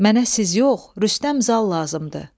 Mənə siz yox, Rüstəm Zal lazımdır.